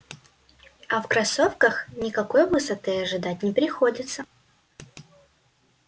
а в кроссовках никакой высоты ожидать не приходится